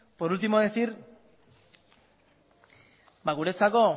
guretzako